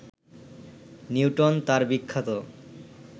Newton তার বিখ্যাত